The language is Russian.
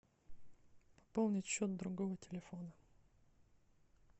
пополнить счет другого телефона